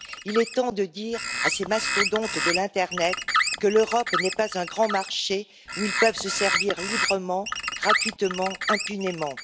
Il est temps de dire à ces mastodontes de l'internet que l'Europe n'est pas un grand marché où ils peuvent se servir librement, gratuitement, impunément.